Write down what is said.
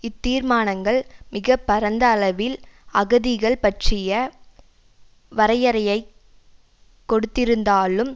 இத்தீர்மானங்கள் மிக பரந்த அளவில் அகதிகள் பற்றிய வரையறையைக் கொடுத்திருந்தாலும்